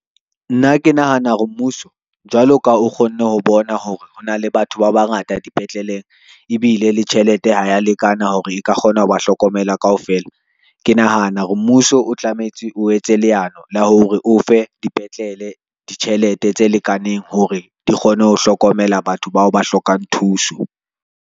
Nna ke nahana hore mmuso jwalo ka o kgonne ho bona hore ho na le batho ba bangata, dipetleleng ebile le tjhelete ha ya lekana hore e ka kgona ho ba hlokomela kaofela. Ke nahana hore mmuso o tlametse o etse leano la hore o fe dipetlele ditjhelete tse lekaneng hore di kgone ho hlokomela batho bao ba hlokang thuso.